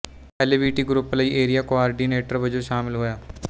L B T group ਲਈ area coordinator ਵਜੋਂ ਸ਼ਾਮਲ ਹੋਇਆ